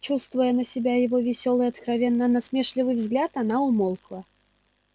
чувствуя на себе его весёлый откровенно насмешливый взгляд она умолкла